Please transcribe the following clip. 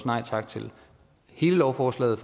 nej tak til hele lovforslaget